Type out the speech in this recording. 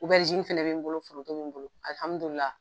fɛnɛ bɛ n bolo, foroto bɛ n bolo alihamdulila.